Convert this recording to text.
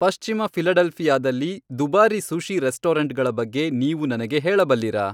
ಪಶ್ಚಿಮ ಫಿಲಡೆಲ್ಫಿಯಾದಲ್ಲಿನ ದುಬಾರಿ ಸುಶಿ ರೆಸ್ಟೋರೆಂಟ್ಗಳ ಬಗ್ಗೆ ನೀವು ನನಗೆ ಹೇಳಬಲ್ಲಿರಾ